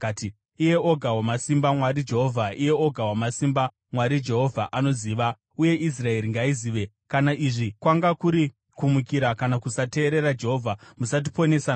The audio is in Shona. “Iye Oga Wamasimba, Mwari, Jehovha! Iye Oga Wamasimba, Mwari, Jehovha! Anoziva! Uye Israeri ngaizive! Kana izvi kwanga kuri kumukira kana kusateerera Jehovha, musatiponesa nhasi.